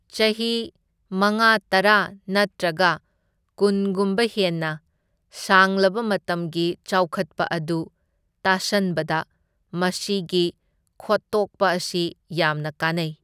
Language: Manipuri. ꯆꯍꯤ ꯃꯉꯥ, ꯇꯔꯥ, ꯅꯠꯇ꯭ꯔꯒ ꯀꯨꯟꯒꯨꯝꯕ ꯍꯦꯟꯅ ꯁꯥꯡꯂꯕ ꯃꯇꯝꯒꯤ ꯆꯥꯎꯈꯠꯄ ꯑꯗꯨ ꯇꯥꯁꯟꯕꯗ ꯃꯁꯤꯒꯤ ꯈꯣꯠꯇꯣꯛꯄ ꯑꯁꯤ ꯌꯥꯝꯅ ꯀꯥꯟꯅꯩ꯫